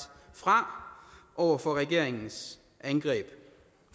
fra over for regeringens angreb